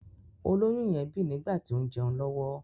Olóyún yẹn bì nígbàtí ó ń jẹun lọ́wọ́.